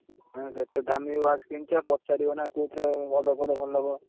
ଏତେ ଦାମୀ watch କିଣଛ ପଚାରିବ ନା କୋଉଥିରେ ଭଲ ପଡିଲେ ଭଲ ହବ?